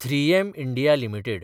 ३एम India limited